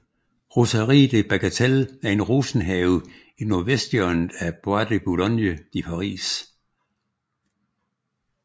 Roseraie de Bagatelle er en rosenhave i nordvesthjørnet af Bois de Boulogne i Paris